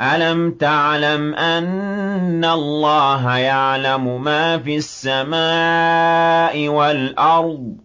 أَلَمْ تَعْلَمْ أَنَّ اللَّهَ يَعْلَمُ مَا فِي السَّمَاءِ وَالْأَرْضِ ۗ